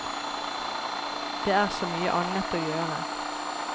Det er så mye annet å gjøre.